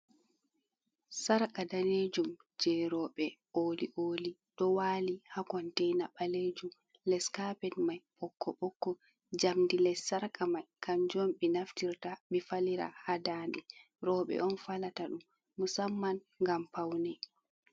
Sarka danejum je roɓɓe oli oli ɗo wali ha kontaina ɓalejum les carped mai ɓokk ɓokko jamdi les sarka mai kanju on ɓe naftirta ɓe falira ha dande roɓɓe on falata ɗum musamman gam paune.